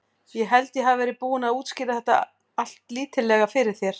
Ég held ég hafi verið búinn að útskýra þetta allítarlega fyrir þér.